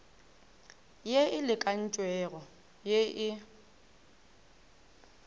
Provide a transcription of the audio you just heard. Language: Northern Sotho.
ye e lekantšwego ye e